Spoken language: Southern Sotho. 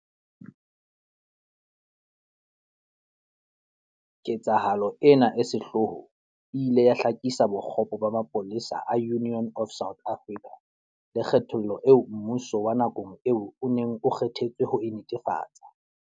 Ketsahalo ena e sehloho e ile ya hlakisa bokgopo ba mapolesa a Union of South Africa, le kgethollo eo mmuso wa nakong eo o neng o kge thetswe ho e netefatsa.